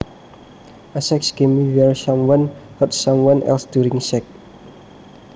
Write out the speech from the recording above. A sex game where someone hurts someone else during sex